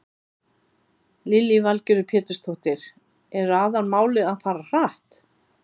Lillý Valgerður Pétursdóttir: Er aðalmálið að fara hratt?